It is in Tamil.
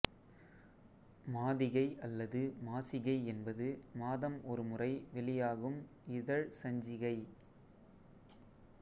மாதிகை அல்லது மாசிகை என்பது மாதம் ஒருமுறை வெளியாகும் இதழ் சஞ்சிகை